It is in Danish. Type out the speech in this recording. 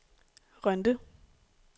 Rønde